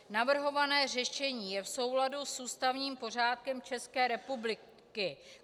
Navrhované řešení je v souladu s ústavním pořádkem České republiky.